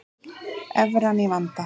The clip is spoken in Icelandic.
Evran í vanda